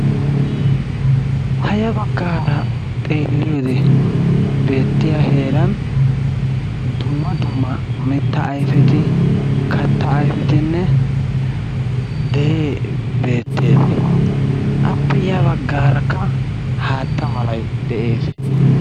Ha ya baggaara xeelliyode beettiya heeran dumma dumma mittaa ayfeti, kattaa ayfetinne deree beettees. Appe ya baggaarakka haatta malay de'ees.